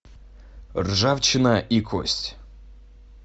ржавчина и кость